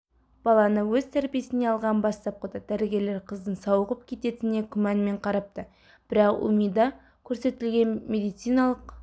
баланы өз тәрбиесіне алған бастапқыда дәрігерлер қыздың сауығып кететініне күмәнмен қарапты бірақ умида көрсетілген медициналық